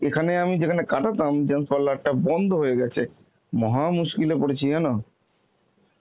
এখানে আমি যেখানে কাটাতাম gents parlour টা বন্ধ হয়ে গেছে, মহা মুশকিলে পড়েছি জানো.